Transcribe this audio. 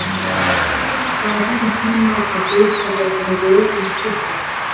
Sævar var á þessum tíma að bisa við að gera ljóðræna stuttmynd.